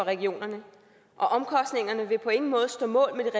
regionerne og omkostningerne vil på ingen måde stå mål med